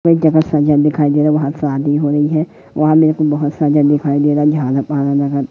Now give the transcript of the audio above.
एक जगह सब जन दिखाई दे रहा है बहोतसा आदमी हैं वहां में एक दिखाई दे रहा है --